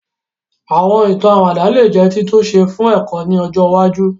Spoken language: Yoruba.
Àwọn ìtàn àwàdà lè jẹ́ títúnṣe fún ẹ̀kọ́ ni ọjọ iwájú